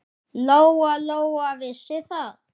Lóa-Lóa vissi það.